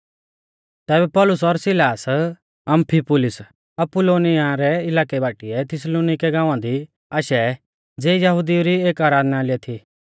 तैबै पौलुस और सिलास अम्फिपुलिस और अपुल्लोनिया रै इलाकै बाटीऐ थिस्सलुनीके गाँवा दी आशै ज़िऐ यहुदिऊ री एक आराधनालय थी